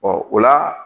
o la